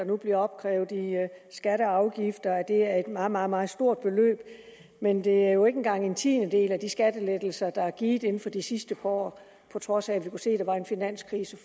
nu bliver opkrævet i skatter og afgifter er et meget meget meget stort beløb men det er jo ikke engang en tiendedel af de skattelettelser der er givet inden for de sidste par år på trods af at vi kunne se at der var en finanskrise